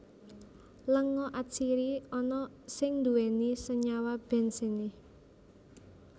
Lenga atsiri ana sing nduwèni Senyawa Benzene